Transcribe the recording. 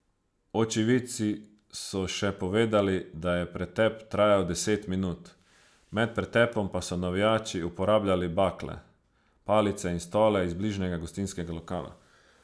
Očividci so še povedali, da je pretep trajal deset minut, med pretepom pa so navijači uporabljali bakle, palice in stole iz bližnjega gostinskega lokala.